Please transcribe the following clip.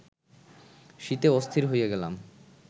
শীতে অস্থির হইয়া গেলাম